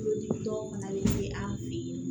Tulodimi tɔ fana bɛ se an fɛ yen